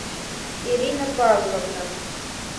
ирина павловна